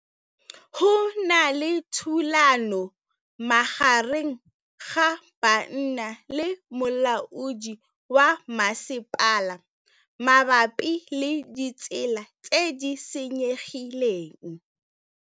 Go na le thulanô magareng ga banna le molaodi wa masepala mabapi le ditsela tse di senyegileng.